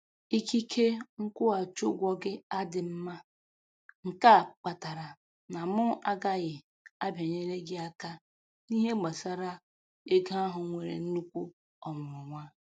Ikike nkwụghachi ụgwọ gị adị mma, nke a kpatara na mụ agaghị abịanyere gị aka n'ihe gbasara ego ahụ nwere nnukwu ọmụrụ nwa